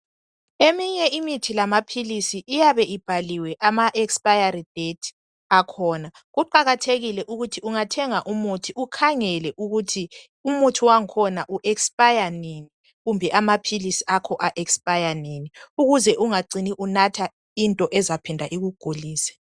Eminye imithi lamaphilisi iyabe ibhaliwe amaexpiry date akhona. Kuqakathekile ukuthi ungathenga umuthi ukhangele ukuthi umuthi wangkhona uexpire nini kumbe amaphilisi akho a expire nini ukuze ungacini unatha into ezaphinda ikugulise.